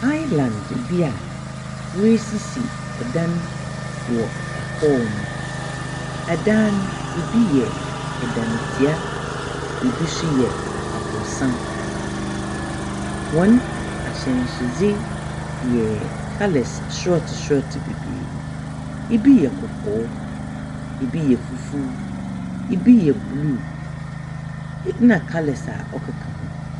Island bi a woesisi adan wɔ hɔnom. Dan no, bi yɛ dantsia, bi so yɛ aborɔsan. Hɔn ahyɛnsewdze yɛ colours sort sort beberee, bi yɛ, bi yɛ fufuw, bi so blue na colours a ɔkeka ho.